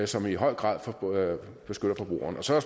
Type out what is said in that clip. som i høj grad beskytter forbrugeren så er